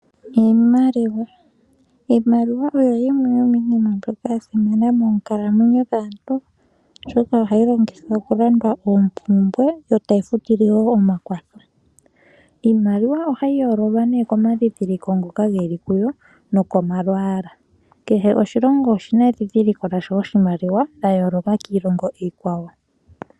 Iimaliwa, iimaliwa oyo yimwe yomiinima mbyoka ya simana moonkalamwenyo dhaantu oshoka ohayi longithwa oku landwa oompumbwe yotayi futile woo omakwatho. Iimaliwa ohayi yoololwa nee komadhidhiliko ngoka geli kuyo nokomalwaala. Kehe oshilongo oshina edhidhiliko lya sho oshimaliwa lyoyooloka kiilongo iikwawo.